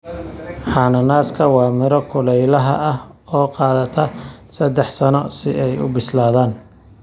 Cananaaska waa miro kulaylaha ah oo qaadata saddex sano si ay u bislaadaan